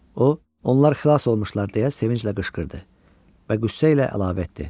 O, “Onlar xilas olmuşlar” deyə sevinclə qışqırdı və qüssə ilə əlavə etdi.